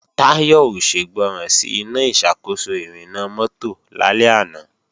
Táyọ̀ ò ṣègbọràn sí Iná ìṣàkóso ìrìnnà mọ́tò lálẹ́ àná